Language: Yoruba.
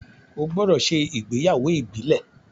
o gbódò ṣe ìgbéyàwó Ibile!